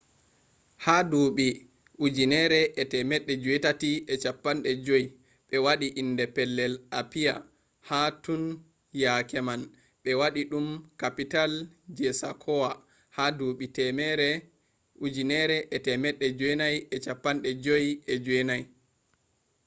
ha duuɓi 1850 ɓe waɗi inde pellel apiya bo tun yake man ɓe waɗi ɗum kapital je sakowa ha duɓi 1959